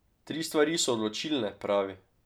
Tri stvari so odločilne, pravi.